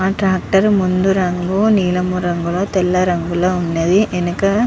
ఆ ట్రాక్ట్ర్ ముందు నీలం రంగు లో తెలుపు రంగు లో వుంది వెనుక --